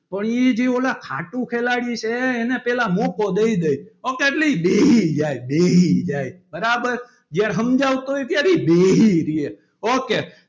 પણ એ જે પેલા ખાટું ખેલાડી છે એનાં પહેલાં મોકો દઈ દિયે ok એટલે બેસી જાય બેસી જાય બરાબર જયારે સમજાવતો હોય ત્યારે બેસી રે ok